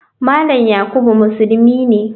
Malam yakubu musulmi ne.